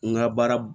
N ka baara